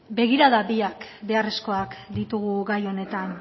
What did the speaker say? begirada biak beharrezkoak ditugu gai honetan